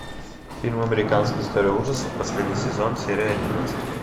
фильм американская история ужасов последний сезон серия одиннадцать